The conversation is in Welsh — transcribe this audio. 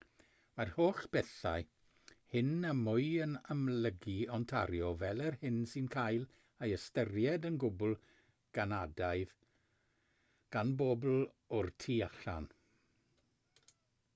mae'r holl bethau hyn a mwy yn amlygu ontario fel yr hyn sy'n cael ei ystyried yn gwbl ganadaidd gan bobl o'r tu allan